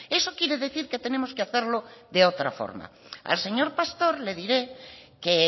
eso quiere decir que tenemos que hacerlo de otra forma al señor pastor le diré que